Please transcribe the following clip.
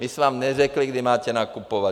My jsme vám neřekli, kdy máte nakupovat.